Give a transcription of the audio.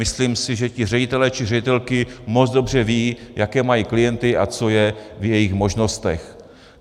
Myslím si, že ti ředitelé či ředitelky moc dobře vědí, jaké mají klienty a co je v jejich možnostech.